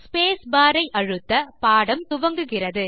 space bar ஐ அழுத்த பாடம் துவங்குகிறது